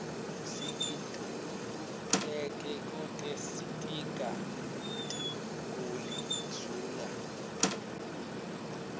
sikitululeke kute sitiga guli zula